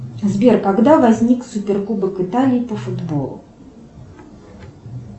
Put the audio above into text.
сбер когда возник суперкубок италии по футболу